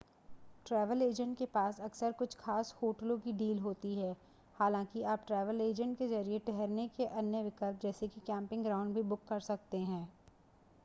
travel agent के पास अक्सर कुछ खास होटलों की डील होती हैं हालांकि आप ट्रैवल एजेंट के ज़रिए ठहरने के अन्य विकल्प जैसे कि कैम्पिंग ग्राउंड भी बुक कर सकते हैं